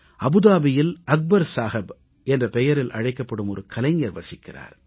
அபுதாபியில் அக்பர் சாஹப் என்ற பெயரில் அழைக்கப்படும் ஒரு கலைஞர் வசிக்கிறார்